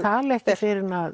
tala ekki fyrr en